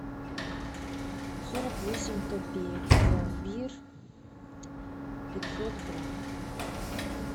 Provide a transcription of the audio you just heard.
сорок восемь копеек пломбир пятьсот грамм